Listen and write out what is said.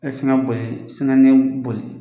E boli boli